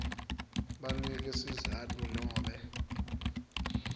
banike sizatfu nobe